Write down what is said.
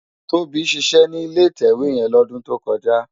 Tobi ṣiṣè ni ilé itèwé yèn lódùn tókòjá